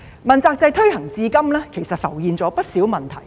問責制推行至今，其實浮現了不少問題。